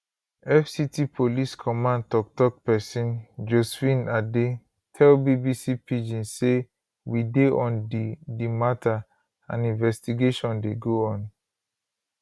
fct police command toktok pesin josephine adeh tell bbc pidgin say we dey on di di mata and investigation dey go on